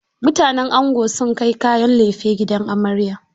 Mutanen ango sun kai kayan laife gidan amarya.